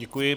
Děkuji.